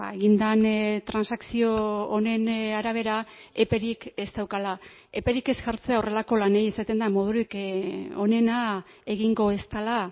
egin den transakzio honen arabera eperik ez daukala eperik ez jartzea horrelako lanei izaten da modurik onena egingo ez dela